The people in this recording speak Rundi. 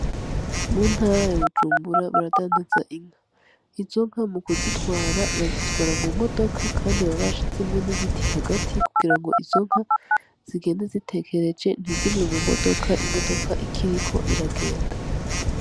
Mu ntara ya Bujumbura baradandaza inka. Izo nka mu kuzitwara bazitwara mu modoka kandi baba bashijemwo n'ibiti hagati kugira ngo izo nka zigende zitegereje ntizive mu mutoka, imotoka ikiriko iragenda.